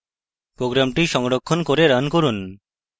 program সংরক্ষণ করে run run